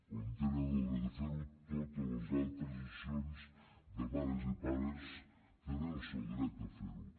com tenen el dret a fer ho totes les altres associacions de mares i pares tenen el seu dret a fer ho